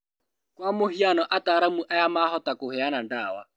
Kwa mũhiano, ataaramu aya mahota kũheana ndawa